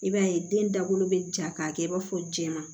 I b'a ye den dakolo bɛ ja k'a kɛ i b'a fɔ jɛman